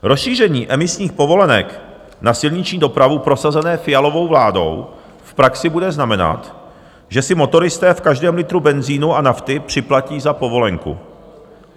Rozšíření emisních povolenek na silniční dopravu prosazené Fialovou vládou v praxi bude znamenat, že si motoristé v každém litru benzinu a nafty připlatí za povolenku.